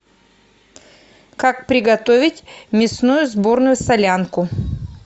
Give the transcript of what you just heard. как приготовить мясную сборную солянку